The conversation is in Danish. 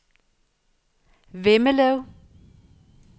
Vemmelev